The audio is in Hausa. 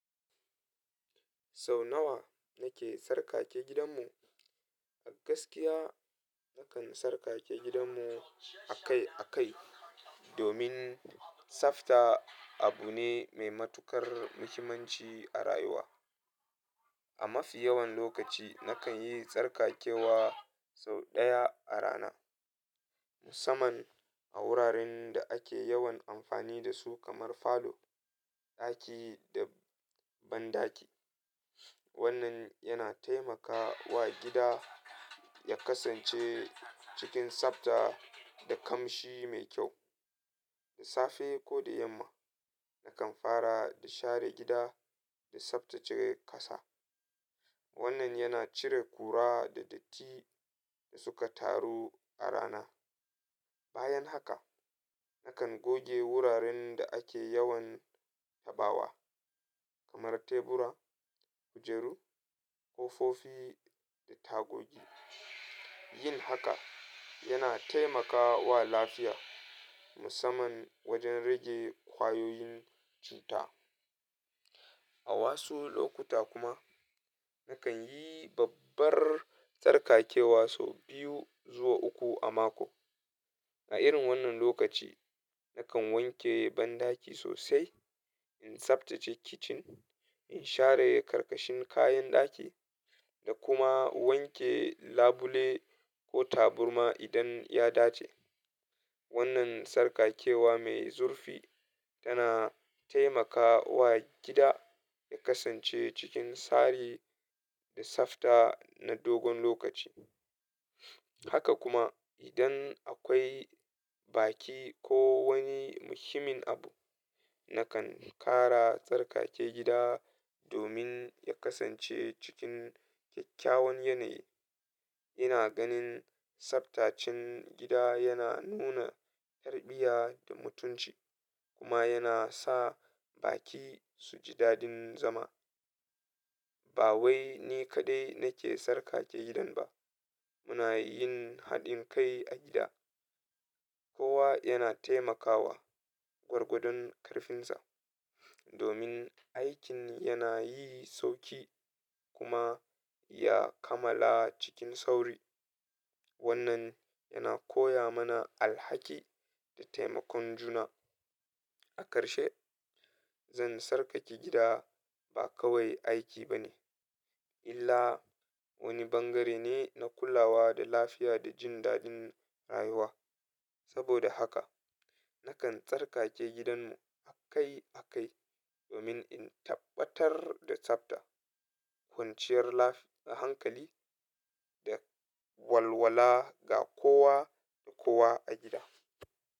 Sau nawa nake sarƙake gidanmu? A gaskiya, nakan tsarkake gidan mu akai-akai domin tsafta abu ne mai matukar muhimmanci a rayuwa. A mafi yawan lokaci, nakan yi tsarkakewa sau ɗaya a rana, musamman a wuraren da ake yawan amfani da su kamar falo, ɗaki da banɗaki. Wannan yana taimaka wa gida ya kasance cikin tsafta da kamshi mai kyau. Da safe ko da yamma, nakan fara da share gida da tsaftace ƙasa. Wannan yana cire kura da datti da suka taru a rana. Bayan haka, nakan goge wuraren da ake yawan tabawa kamar tebura, kujeru, ƙofofi da tagogi. Yin haka yana taimakawa lafiya, musamman wajen rage kwayoyin cuta. A wasu lokuta kuma, nakan yi babbar tsarkakewa sau biyu zuwa uku a mako. A irin wannan lokaci, nakan wanke banɗaki sosai, in tsaftace kicin, in share karkashin kayan ɗaki da kuma wanke labule ko taburma idan ya dace. Wannan tsarkakewa mai zurfi tana taimaka wa gida ya kasance cikin tsari da tsafta na dogon lokaci. Haka kuma, idan akwai baki ko wani muhimmin abu, nakan ƙara tsarkake gida domin ya kasance cikin kyakkyawan yanayi. Ina ganin tsaftacen gida yana nuna yarbiya da mutunci kuma yana sa baki su ji daɗin zama. Ba wai ni kaɗai nake sarƙake gidan ba. Muna yin haɗin kai a gida. Kowa yana taimakawa gwargwadon ƙarfinsa domin aikin yana yi sauƙi kuma ya kammala cikin sauri. Wannan yana koya mana alhaki da taimakon juna. A karshe, zan tsarkake gida ba kawai aiki ba ne, illa wani bangare ne na kulawa da lafiya da jin daɗin rayuwa. Saboda haka, nakan tsarkake gidanmu akai-akai domin in tabbatar da tsafta, kwanciyar lafiya da hankali da walwala ga kowa da kowa a gida.